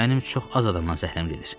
Mənim çox az adamdan zəhləm gedir.